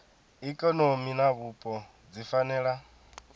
ikonomi na vhupo dzi fanela